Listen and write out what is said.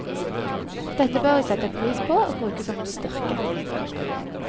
Dette bør vi sette pris på og bruke som en styrke.